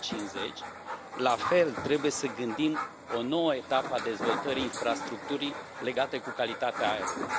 2050. La fel, trebuie să gândim o nouă etapă a dezvoltării infrastructurii legate cu calitatea aerului.